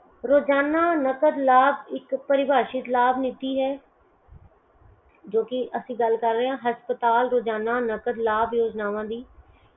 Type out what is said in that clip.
ਰੋਜਾਨਾ ਨਕਦ ਲਾਭ ਇੱਕ ਪਰੀਭਾਸ਼ਿਤ ਲਾਭ ਨੀਤੀ ਹੈ ਜੋ ਕੀ ਇੱਕ ਅਸੀਂ ਗਲ ਕਰ ਰਹੇ ਹੈ ਹਸਪਤਾਲ ਰੋਜ਼ਾਨਾ ਨਕਦ ਲਾਭ ਯੋਜਨਾਵਾਂ ਦੀ